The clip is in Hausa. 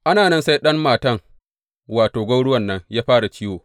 Ana nan sai ɗan matan, wato, gwauruwan nan ya fara ciwo.